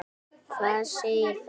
Hvað segir það?